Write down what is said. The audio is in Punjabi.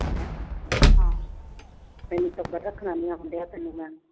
ਤੈਨੂੰ ਟੱਬਰ ਰੱਖਣਾ ਨੀ ਆਉਂਦਾ।